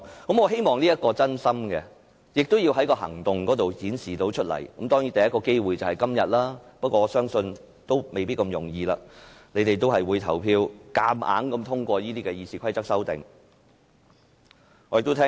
我希望他們是真心的，並會透過行動表現出來，而第一個機會就是今天，但我相信不會這麼容易，他們應該會投票強行通過《議事規則》的修訂。